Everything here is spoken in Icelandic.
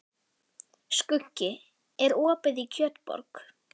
Skuggi, er opið í Kjötborg?